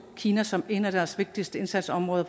kina som en af deres vigtigste indsatsområder